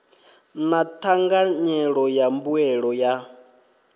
na thanganyelo ya mbuelo yo